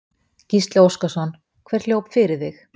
Gísli Óskarsson: Hver hljóp fyrir þig?